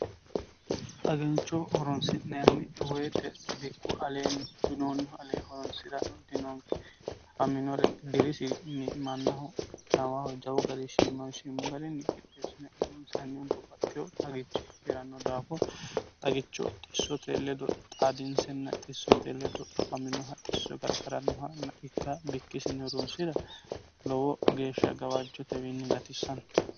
xagancho horonsi'naanniwoyite bikku aleen dinoonno alee horonsi'rano dinoonki afaminore dirisinni mannahu nawahu jawu garishshimmanshimmu galinni qideessine urunsihanni dobbaxeyo xagichi heeranno daafo xagicho xissote ledo xaadinsenna xissote ledo afaminoha xisso gargarannohanna ikka bikkisini urunsira lowo geeshsha gawaajjotewiinni gatissanno